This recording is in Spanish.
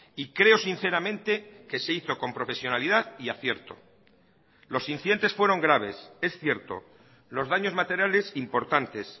y creo sinceramente que se hizo con profesionalidad y acierto los incidentes fueron graves es cierto los daños materiales importantes